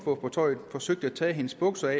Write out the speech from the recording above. forsøgt at tage hendes bukser